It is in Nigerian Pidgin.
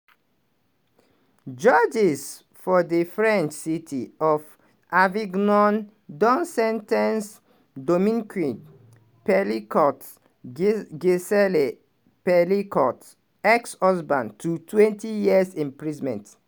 judges for di french city of avignon don sen ten ce dominique pelicot gisele pelicot ex-husband totwentyyears imprisonment.